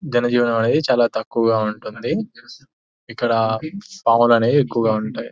అనేది చాలా తక్కువగా ఉంటుంది ఇక్కడ పాములు అనేవి ఎక్కువగా ఉంటాయి --